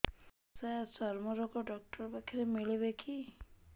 ସାର ଚର୍ମରୋଗ ଡକ୍ଟର ପାଖରେ ମିଳିବେ କି